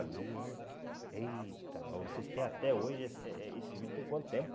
Eita nossa, vocês têm até hoje... Eh eh esse vídeo tem quanto tempo?